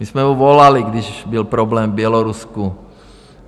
My jsme mu volali, když byl problém v Bělorusku.